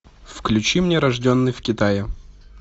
включи мне рожденный в китае